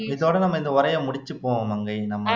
இதோடான நம்ம இந்த உறைய முடுச்சிப்போம் மங்கை நம்ம